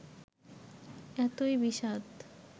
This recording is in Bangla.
এতই বিষাদ